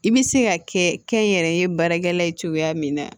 I bɛ se ka kɛ kɛnyɛrɛ ye baarakɛla ye cogoya min na